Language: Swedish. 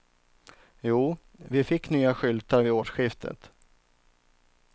Jo, vi fick nya skyltar vid årsskiftet.